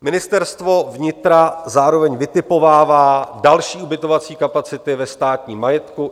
Ministerstvo vnitra zároveň vytipovává další ubytovací kapacity ve státním majetku.